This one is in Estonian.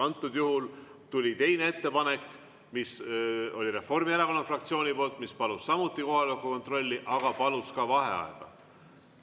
Antud juhul tuli teine ettepanek, mis oli Reformierakonna fraktsioonilt ja mis palus samuti kohaloleku kontrolli, aga palus ka vaheaega.